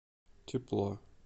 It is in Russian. тепло